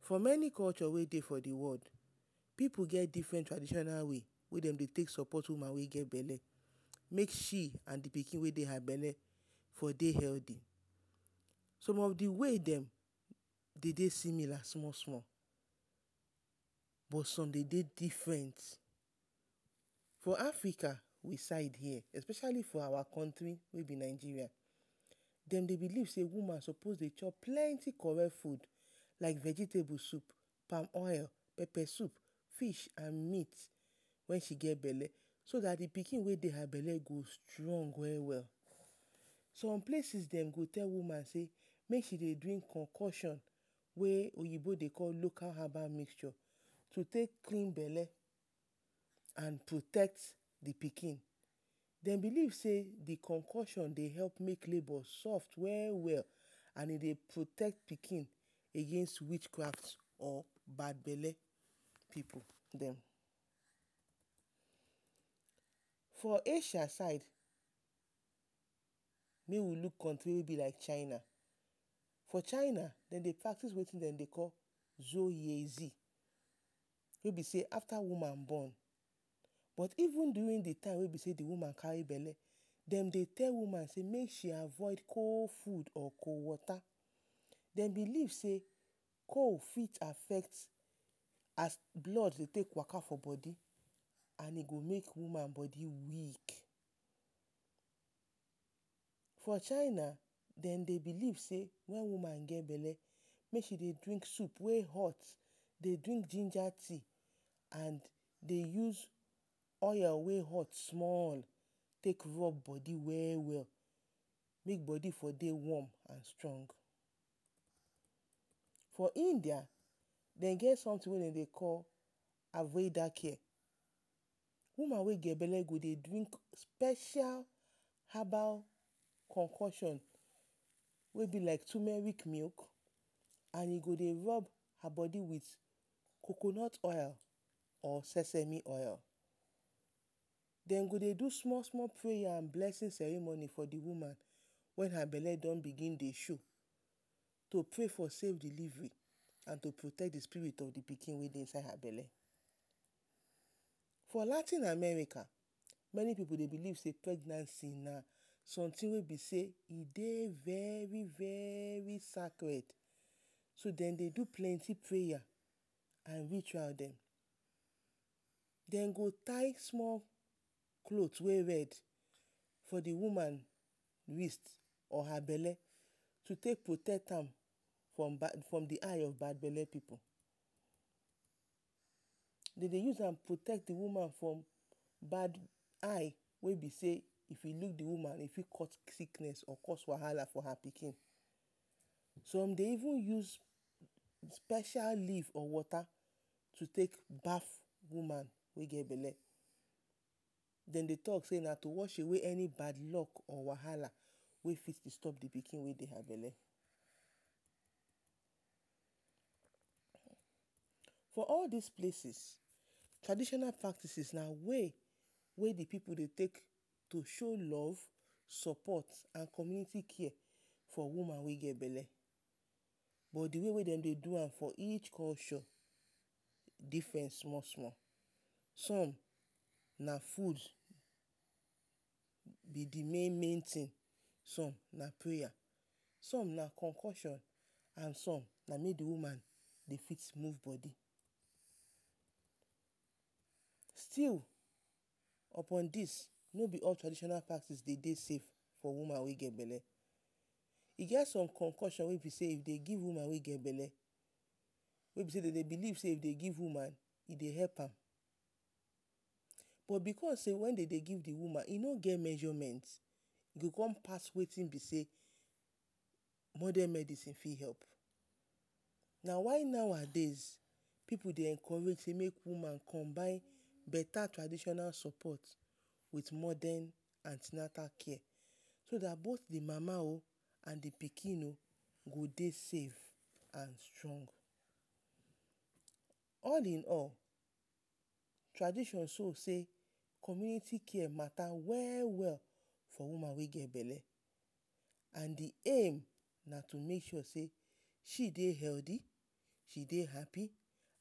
For meni culture wey dey for the world, pipu get different traditional way wey dem dey take sopot woman wey get bele make she and the pikin wey dey bele for dey heldy. Some of the way dem de dey simila small-small but som de dey different. for Africa we side here especially for our kontri wey be Nigeria, dem dey belief sey woman sopos to chop plenti………….? Fud like vegetable soup, palm oil, pepe sup, fish and mit wen she get bele so dat the pikin wey dey her bele go strong we-we. Som places dem go tell woman sey make she dey drink konkosion wey oyibo dey call local herbal mixture. To take clean bele and to protect the pikin, dem belief sey, the konkosion dey help make labor soft we-we and e dey protect pikin against witchcraft or bad bele pipu dem. For Asia Side mey we luk continue be like china, for china, dem dey practice wetin dem dey call……………………….? Wey be sey afta woman bon but even durin the time wey be sey the woman kari bele, demdey tell woman sey make she avoid cold fud or cold wota, dem belief sey, cold fit affect as blood dey take waka for bodi and e go make woman bodi weak. For china, dem dey belief sey, wen woman get bele make she dey drink soup wey hot, dey drink ginger tea and dey use oil wey hot small take rob bodi we-we mey bodi for dey wom and strong. For india, dem get somtin wey dem dey call………? woman wey get bele go dey drink special herbal konkosion, wey be like turmeric milk and go dey rob her bodi with coconut oil or sesemi oil. Dem go dey small-small preya and blessin ceremony for the woman wen her bele don bigin dey show. To prey for safe delivery and to protect the spirit of the pikin wey dey inside her bele. For Latin America, meni pipu dey belief sey pregnancy na somtin wey be sey e dey veri-veri sacred, so dem dey do plenty preya and ritual dem. Dem go tie small clot wey red for the woman waist or her bele to take protect her from the eye of bad bele pipu. De dey use am protect the woman from bad eye wey be sey if e leave the woman dem fit cause sikness or wahala for her pikin. Som dey even use special leave or wota to take baf woman wey get bele. Dem dey talk sey na to wash away any bad lok or wahala wey fit distob pikin wey dey for her bele. For all dis places, traditional practices na way wey the pipu dey take to show love, sopot and community care for woman wey get bele. But the way wey dem dey do am for each culture different small-small. Som na fud be the main-main tin, som na preya, som na konkosion, and som na mey the woman dey fit move bodi. Still upon dis, no be all traditional practice de dey safe for woman wey get bele. E get som konkosion wey be sey if dem give woman wey get bele, wey be sey dem dey belief sey e dey help am. But because sey wen de dey give the woman e no get measurement, e con pass the way wey modan mediine fit help, na why nowadays, pipu dey encourage woman combine beta traditional sopot with modan anti-natal care. So dat both the mama o, and the pikin o go dey safe and strong. All in all, tradition show sey, community care mata we-we, for woman wey get bele, and the aim na to make sure sey, she dey heldy, she dey hapi